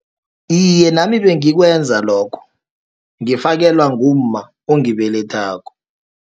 Iye, nami bengikwenza lokho, ngifakelwa ngumma ongibelethako.